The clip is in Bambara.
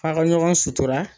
F'a ka ɲɔgɔn sutura